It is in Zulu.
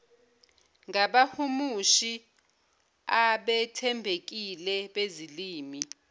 ngabahumushi abethembekile bezilimi